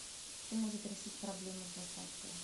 кто может решить проблему с доставкой